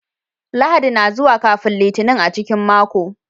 Lahadi na zuwa kafin Litinin a cikin mako.